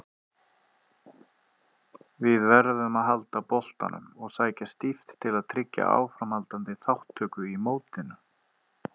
Við verðum að halda boltanum og sækja stíft til að tryggja áframhaldandi þátttöku í mótinu.